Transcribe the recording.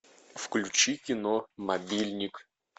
включи кино мобильник